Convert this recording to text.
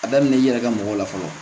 A daminɛ i yɛrɛ ka mɔgɔ la fɔlɔ